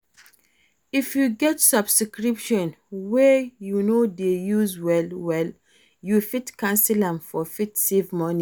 If you get Subscription wey you no dey use well well, you fit cancel am to fit save money